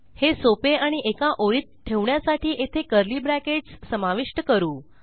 हे सोपे आणि एका ओळीत ठेवण्यासाठी येथे कर्ली ब्रॅकेट्स समाविष्ट करू